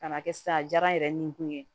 Ka na kɛ sisan a diyara n yɛrɛ ni kun ye